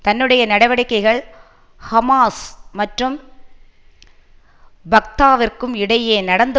தன்னுடைய நடவடிக்கைகள் ஹமாஸ் மற்றும் ஃபத்தாவிற்கும் இடையே நடந்து